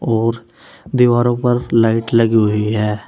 और दीवारों पर लाइट लगी हुई है।